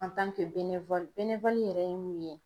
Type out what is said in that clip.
yɛrɛ ye mun ye?